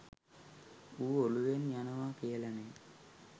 ඌ ඔලුවෙන් යනව කියලනෙ